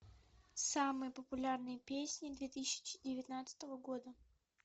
самые популярные песни две тысячи девятнадцатого года